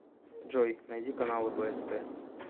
джой найди каналы бст